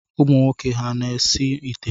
Ụmụnwoke ha na-esi ite?